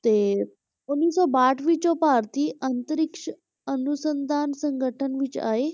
ਤੇ ਉੱਨੀ ਸੌ ਬਾਹਠ ਵਿੱਚ ਉਹ ਭਾਰਤੀ ਅੰਤਰਿਕਸ਼ ਅਨੁਸੰਧਾਨ ਸੰਗਠਨ ਵਿੱਚ ਆਏ